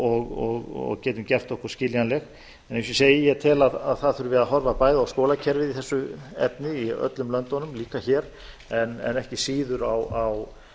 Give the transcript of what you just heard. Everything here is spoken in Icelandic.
og getum gert okkur skiljanleg eins og ég segi ég tel að það þurfi að horfa bæði á skólakerfið í þessu efni í öllum löndunum líka hér en ekki síður á